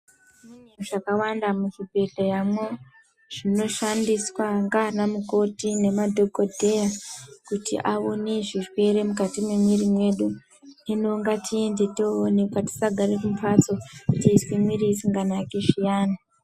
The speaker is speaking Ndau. Mune zvakawanda kuzvibhedhleyamo zvinoshandiswa ndiana mukoti nemadhogodheya kuti aone zvirwere mukati mwemwiri mwedu. Hino ngatiende toonekwa tisagare mumhatso teizwa mwiri isinganaki zviyani.